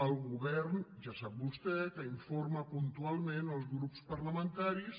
el govern ja sap vostè que informa puntualment els grups parlamentaris